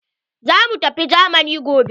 Za mu tafi jamani gobe.